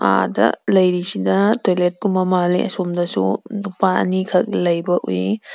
ꯑꯥꯗ ꯂꯩꯔꯤꯁꯤꯅ ꯇꯣꯏꯂꯦꯠ ꯀꯨꯝꯕ ꯃꯥꯜꯂꯤ ꯑꯁꯣꯝꯗꯁꯨ ꯅꯨꯄꯥ ꯑꯅꯤꯈꯛ ꯂꯩꯕ ꯎꯏ꯫